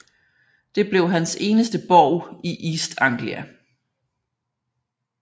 Det blev hans eneste borg i East Anglia